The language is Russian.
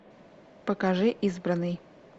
покажи избранный